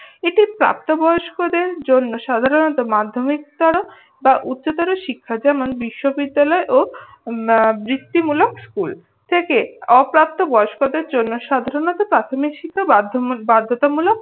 ঠিক প্রাপ্তবয়স্কদের জন্য সাধারণত মাধ্যমিকটা বা উচ্চতর শিক্ষা যেমন বিশ্ববিদ্যালয় ও হম বৃত্তিমূলক স্কুল থেকে অপ্রাপ্তবয়স্কদের জন্য সাধারণত প্রাথমিক শিক্ষা বাধ্যমূল বাধ্যতামূলক